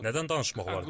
Nədən danışmaq olar?